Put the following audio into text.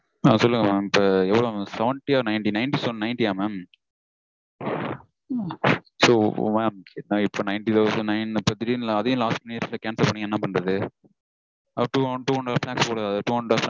ஆஹ் சொல்லுங்க mam இப்போ எவ்வளவு mam? seventy -யா ninety ninety nine so ninty -ஆ mam? so இப்போ ninety thousand nine இப்போ திடீர்னு அதையும் last minute -ல cancel பண்ணிங்கனா என்ன பண்றது?